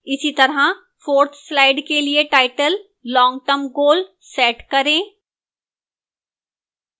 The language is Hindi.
इसीतरह 4th slide के लिए title long term goal set करें